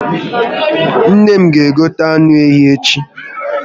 Nne m ga egota anụ ehi echi